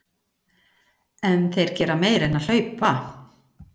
En þeir gera meira en að hlaupa.